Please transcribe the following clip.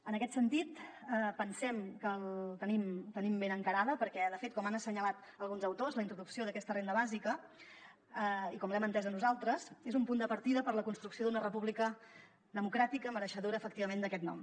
en aquest sentit pensem que la tenim ben encarada perquè de fet com han assenyalat alguns autors la introducció d’aquesta renda bàsica com l’hem entesa nosaltres és un punt de partida per a la construcció d’una república democràtica mereixedora efectivament d’aquest nom